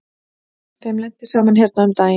Þeim lenti saman hérna um daginn.